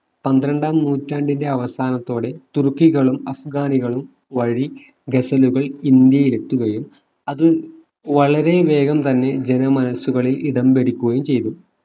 പന്ത്രണ്ടാം നൂറ്റാണ്ടിന്റെ അവസാനത്തോടെ തുർക്കികളും അഫ്‌ഗാനികളും വഴി ഗസലുകൾ ഇന്ത്യയിൽ എത്തുകയും അത് വളരെ വേഗം തന്നെ ജനമനസ്സുകളിൽ ഇടം പിടിക്കുകയും ചെയ്തു